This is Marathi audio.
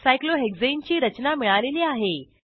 सायक्लोहेक्साने ची रचना मिळालेली आहे